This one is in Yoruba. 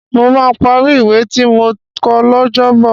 Mo máa parí ìwé tí mò ń kọ lọ́jọ́bọ̀